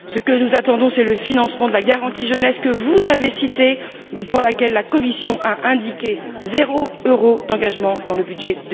Ce que nous attendons, c'est le financement de la garantie jeunesse que vous avez citée, mais pour laquelle la Commission a indiqué zéro euro d'engagements dans le budget